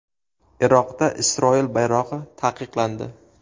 Iroqda Isroil bayrog‘i taqiqlandi.